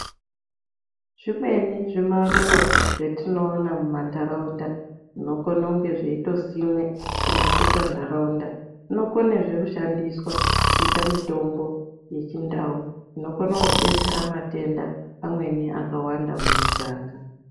Zvimweni zvimaruva zvatinoona mumantaraunda zvinokone kunge zveitosimwe kunakisa ntaraunda zvinokonezve kushandiswa kuita mitombo yechindau inokona kudetsera matenda amweni akawanda mumiganga.